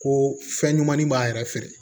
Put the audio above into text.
Ko fɛn ɲumanni b'a yɛrɛ feere